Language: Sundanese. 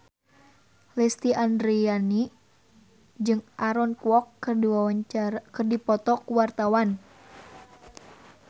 Lesti Andryani jeung Aaron Kwok keur dipoto ku wartawan